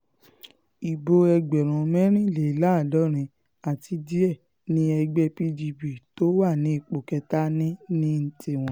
ibo ẹgbẹ̀rún mẹ́rìnléláàádọ́rin àti díẹ̀ ni ẹgbẹ́ pdp tó wà ní ipò kẹta ní ní tiwọn